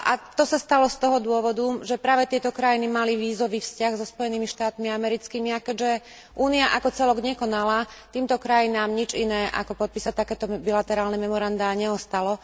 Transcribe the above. To sa stalo z toho dôvodu, že práve tieto krajiny mali vízový vzťah so Spojenými štátmi americkými, a keďže Únia ako celok nekonala, týmto krajinám nič iné, ako podpísať takéto bilaterálne memorandá, neostalo.